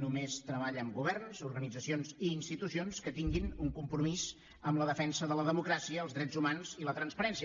només treballa amb governs organitzacions i institucions que tinguin un compromís amb la defensa de la democràcia els drets humans i la transparència